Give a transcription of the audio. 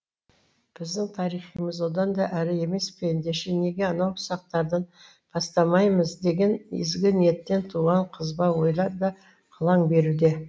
біздің тарихымыз одан да әрі емес пе ендеше неге анау сақтардан бастамаймыз деген ізгі ниеттен туған қызба ойлар да қылаң беруде